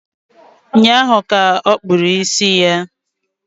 Ụnyaahụ ka okpúrụ ísì ya